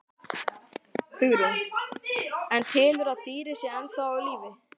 Hugrún: En telurðu að dýrið sé ennþá á lífi?